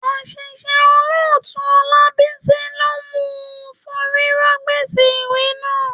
Àṣìṣe Olótùú Ọlábísí ló mú un forí rọ́ gbèsè ìwé náà.